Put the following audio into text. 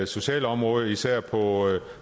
sociale område og især på